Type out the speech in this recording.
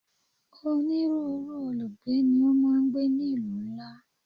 Onírúurú olùgbé ni ó máa ń gbé ní ìlú ńlá